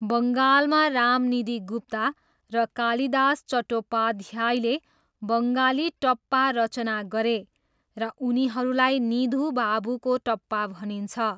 बङ्गालमा रामनिधि गुप्ता र कालिदास चट्टोपाध्यायले बङ्गाली टप्पा रचना गरे र उनीहरूलाई निधु बाबुको टप्पा भनिन्छ।